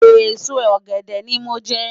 Esó ògèdè ni mó nje